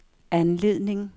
anledning